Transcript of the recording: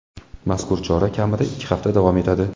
Mazkur chora kamida ikki hafta davom etadi.